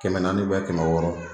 Kɛmɛ naani kɛmɛ wɔɔrɔ.